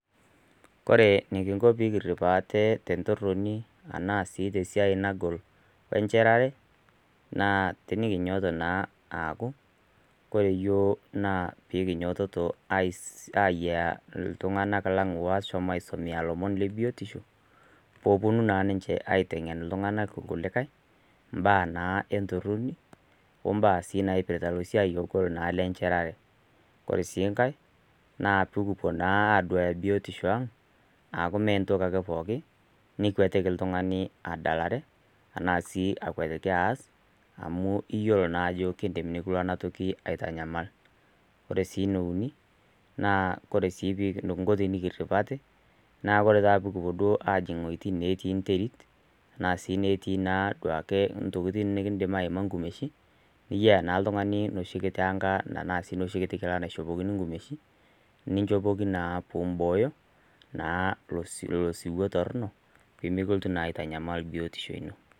Ore eneking'o pee kirip aate te entoroni, anaa sii te siai nagol enchetare, naa tenekinyoito naa aaku, ore iyiok naa ayiaiya naa ltung'anak lang' naa oshomoito aisomea ilomon le biotisho, pee epuonu naa ninche aiteng'en ilkulikai imbaa naa entoroni, we esiai naa naipirita naa esiai naa ogol lenchetare. Ore sii enkai naa pee kipuo naa aduaya biotisho aang', aaku me entoki ake pookin, nikwetiki oltung'ani adalare, anaa sii akwetiki aas, amu iyiolo naaa ajo kelo naa ena toki nikilo aitanyamal. Ore sii ene uni, ore sii eneking'o pee kirip aate, naa kore duo pee kipuon aajing' iwuejitin natii enterit, anaa sii duo ake intokitin nekindim aima inkumeshin, niyou naa oltung'ani enoshi kiti kila naishopokini inkumeshin, piinchopoki naa piimbooyo, naa ilo siwu torono, pee mekilotu naa aitanyamal biotisho ino.